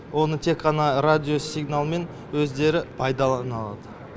оны тек қана радиосигналмен өздері пайдалана алады